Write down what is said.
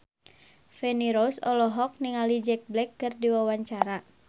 Feni Rose olohok ningali Jack Black keur diwawancara